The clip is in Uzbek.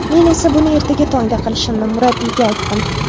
Men esa buni ertaga tongda qilishimni murabbiyga aytdim.